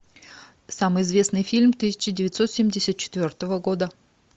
самый известный фильм тысяча девятьсот семьдесят четвертого года